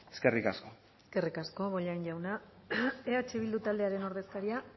eskerrik asko eskerrik asko bollain jauna eh bildu taldearen ordezkaria